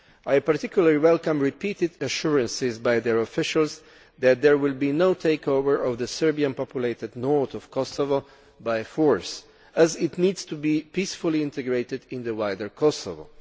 I particularly welcome repeated assurances by their officials that there will be no takeover of the Serbian populated north of Kosovo by force, as it needs to be peacefully integrated into the wider Kosovo.